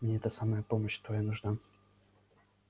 мне это самое помощь твоя нужна